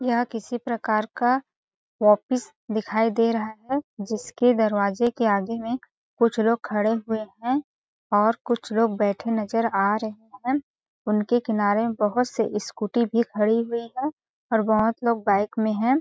यह किसी प्रकार का वापिस दिखाई दे रहा है जिसके दरवाजे के आगे में कुछ लोग खड़े हुए है और कुछ लोग बैठे नज़र आ रहे है उनके किनारे में बहुत से स्कूटी भी खड़ी हुई है और बहुत लोग बाइक में है।